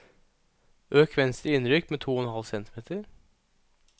Øk venstre innrykk med to og en halv centimeter